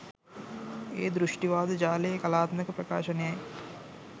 ඒ දෘෂ්ටිවාද ජාලයේ කලාත්මක ප්‍රකාශනයයි.